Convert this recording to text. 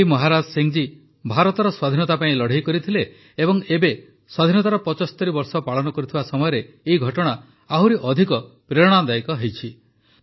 ଭାଇ ମହାରାଜ ସିଂହ ଜୀ ଭାରତର ସ୍ୱାଧୀନତା ପାଇଁ ଲଢ଼େଇ ଲଢ଼ିଥିଲେ ଏବଂ ଏବେ ସ୍ୱାଧୀନତାର ୭୫ ବର୍ଷ ପାଳନ କରୁଥିବା ସମୟରେ ଆହୁରି ଅଧିକ ପ୍ରେରଣାଦାୟକ ହୋଇଯାଏ